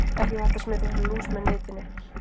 Ekki er hægt að smitast af lús með nitinni.